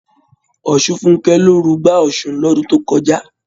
Ọ̀ṣunfúnkẹ́ ló rugbá Ọ̀ṣun lọ́dun tó kọjá.